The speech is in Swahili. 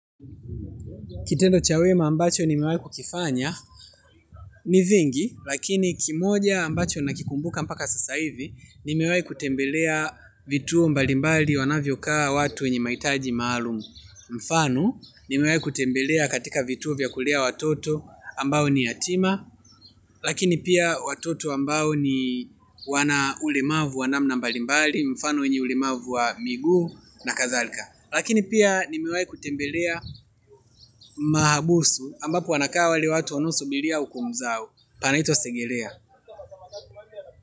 Kitendo cha wema ambacho ni mewai kukifanya ni vingi lakini kimoja ambacho nakikumbuka mpaka sasa hivi ni mewai kutembelea vituo mbalimbali wanavyo kaa watu wenye mahitaji maalum. Mfano nimewai kutembelea katika vituo vya kulea watoto ambao ni yatima lakini pia watoto ambao ni wana ulemavu wanamna mbalimbali mfano wenye ulemavu wa miguu na kadhalka. Lakini pia nimewai kutembelea mahabusu ambapo wanakaa wale watu wanaosubilia hukumu zao panaitwa segelea.